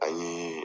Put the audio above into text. An ye